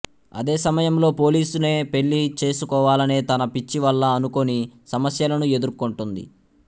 అదే సమయంలో పోలీస్ నే పెళ్ళి చేసుకోవాలనే తన పిచ్చి వల్ల అనుకోని సమస్యలను ఎదుర్కొంటుంది